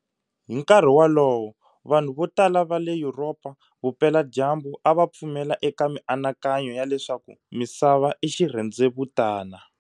Hi nkarhi wolowo, vanhu vo tala va le Yuropa Vupeladyambu a va pfumela eka mianakanyo ya leswaku Misava i xirhendzevutana.